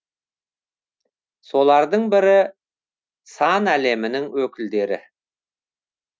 солардың бірі сән әлемінің өкілдері